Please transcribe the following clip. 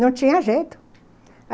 Não tinha jeito.